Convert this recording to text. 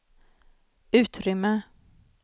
utrymme